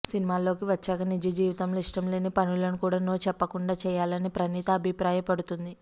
సినిమాల్లోకి వచ్చాక నిజ జీవితంలో ఇష్టం లేని పనులను కూడా నో చెప్పకుండా చేయాలనీ ప్రణీత అభిప్రాయపడుతుంది